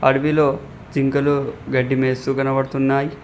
అడవిలో జింకలు గడ్డి మేస్తు కనపడుతున్నాయ్.